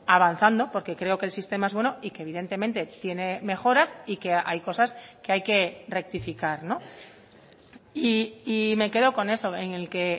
avanzando porque creo que el sistema es bueno y que evidentemente tiene mejoras y que hay cosas que hay que rectificar y me quedo con eso en el que